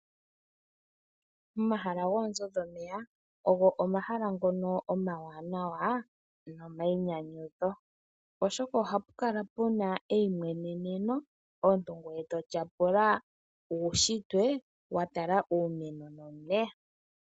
Omahala goonzo dhomeya, ogo omahala ngono omawanawa, nomainyanyudho. Oshoka ohapu kala pu na eimweneneno, omuntu ngoye to tyapula uushitwe wa tala iimeno nomeya.